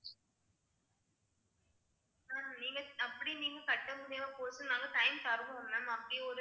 ma'am நீங்க அப்படி நீங்க கட்ட முடியாம போகலைன்னாலும் time தருவோம் ma'am அப்படி ஒரு